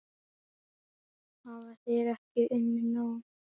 Hafa þeir ekki unnið nóg?